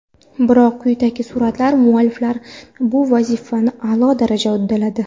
Biroq quyidagi suratlar mualliflari bu vazifani a’lo darajada uddaladi.